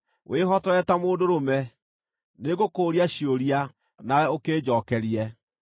“Wĩhotore ta mũndũ mũrũme; nĩngũkũũria ciũria, nawe ũkĩnjookerie.